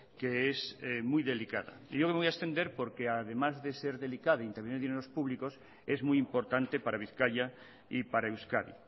que es muy delicada yo me voy a extender porque además de ser delicada e intervienen dineros públicos es muy importante para bizkaia y para euskadi